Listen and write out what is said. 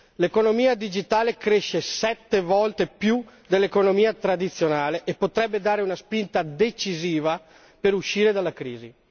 L'economia digitale cresce sette volte di più dell'economia tradizionale e potrebbe dare una spinta decisiva per uscire dalla crisi.